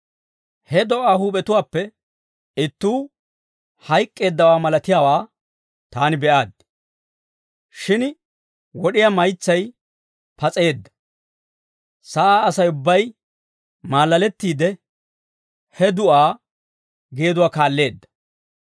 He do'aa huup'etuwaappe ittuu hayk'k'eeddawaa malaatiyaawaa taani be'aaddi; shin wod'iyaa maytsay pas'eedda. Sa'aa Asay ubbay maalalettiide, he du'aa geeduwaa kaalleedda.